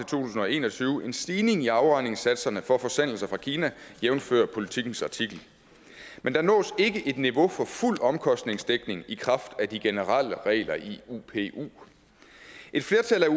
tusind og en og tyve en stigning i afregningssatserne for forsendelser fra kina jævnfør politikens artikel men der nås ikke et niveau for fuld omkostningsdækning i kraft af de generelle regler i upu et flertal af